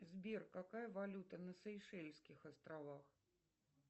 сбер какая валюта на сейшельских островах